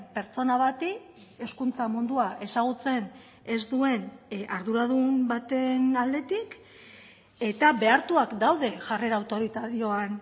pertsona bati hezkuntza mundua ezagutzen ez duen arduradun baten aldetik eta behartuak daude jarrera autoritarioan